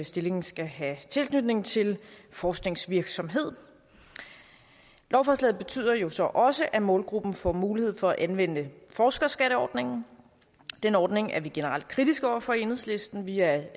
stillingen skal have tilknytning til forskningsvirksomhed lovforslaget betyder jo så også at målgruppen får mulighed for at anvende forskerskatteordningen den ordning er vi generelt kritiske over for i enhedslisten vi er